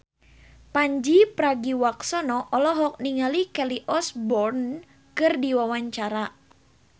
Pandji Pragiwaksono olohok ningali Kelly Osbourne keur diwawancara